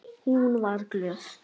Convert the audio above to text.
Hún var glöð.